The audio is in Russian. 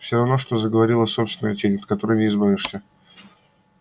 всё равно что заговорила собственная тень от которой не избавишься